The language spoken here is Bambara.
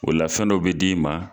O la fɛn dɔ bɛ d'i ma